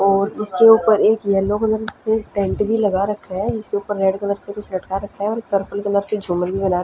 और इसके ऊपर एक येलो कलर से एक टेंट भी लगा रखा है इसके ऊपर रेड कलर से कुछ लटका रखा है और पर्पल कलर से झूमर भी बना--